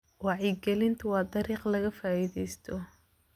Wacyigelintu waa dariiq laga faa'iidaysto.